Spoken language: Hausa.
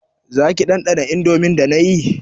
Zaki ɗanɗana indomin da yayi